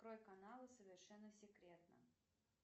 открой канал совершенно секретно